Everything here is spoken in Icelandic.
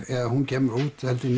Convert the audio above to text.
eða hún kemur út held ég